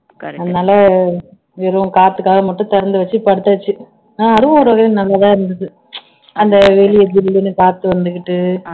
அதனால வெறும் காத்துக்காக மட்டும் திறந்து வச்சு படுத்தாச்சு அதுவும் ஒரு வகைல நல்லாதான் இருந்தது அந்த வெளிய ஜில்லுனு காத்து வந்துகிட்டு